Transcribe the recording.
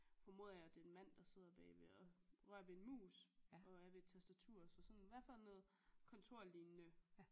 Formoder jeg det er en mand der sidder bagved og rører ved en mus og er ved et tastatur så sådan i hvert fald noget kontorlignende